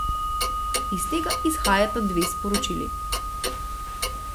Iz tega izhajata dve sporočili.